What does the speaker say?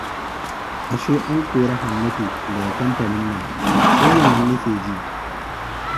Ashe an kori Hannatu daga kamfanin nan? Sai yanzu nake ji